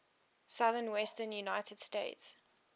southwestern united states